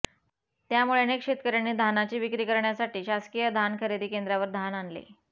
त्यामुळे अनेक शेतकऱ्यांनी धानाची विक्री करण्यासाठी शासकीय धान खरेदी केंद्रावर धान आणले